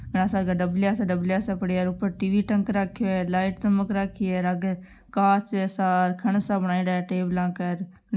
घणा सारा डाबला सा डाबला सा पड़ा हैंऔर उपर टीवी टांग रखो है लाइट चमक राखी हैं आगे कांच सा खन सा बनायेड़ा हैं टेबल के।